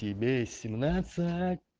тебе семнадцать